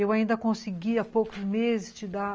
Eu ainda consegui há poucos meses te dar